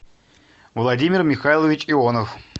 владимир михайлович ионов